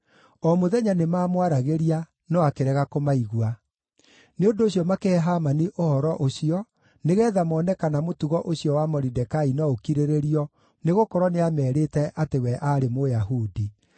O mũthenya nĩmamwaragĩria no akĩrega kũmaigua. Nĩ ũndũ ũcio makĩhe Hamani ũhoro ũcio nĩgeetha mone kana mũtugo ũcio wa Moridekai no ũkirĩrĩrio, nĩgũkorwo nĩameerĩte atĩ we aarĩ Mũyahudi.